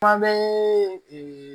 Kuma bɛɛ